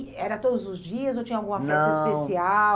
E era todos os dias ou tinha alguma festa especial?